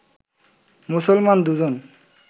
মুসলমান দুজন